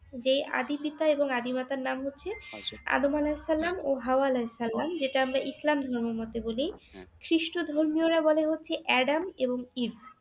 যে আদি পিতা এবং আদি মাতার নাম হচ্ছে আদম আলাহিসাল্লাম ও হাওয়া আলাহিসাল্লাম যেটা আমরা ইসলাম ধর্মের মধ্যে বলি, খ্রিষ্ট ধর্মীয়রা বলে হচ্ছে অ্যাডাম এবং ইভ